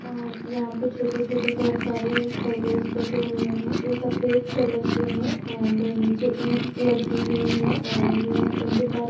यहाँ पे छोटे-छोटे बहुत सारे खरगोस बेठे है जो सफेद कलर के है एंड नीचे ईटस लगी हुई है और उंके पास --